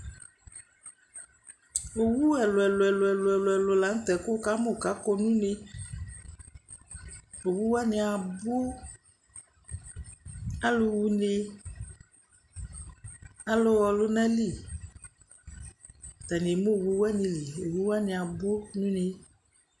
Uwo ɛlʋ-ɛlʋ ɛlʋ-ɛlʋ ɛlʋ-ɛlʋ la nʋ tɛ kʋ wʋkamʋ kʋ akɔ nʋ une Uwo wanɩ abʋ Alʋ ɣa une, alʋ ɣa ɔlʋnali Atanɩ eme uwo wanɩ li, owu wanɩ abʋ nʋ une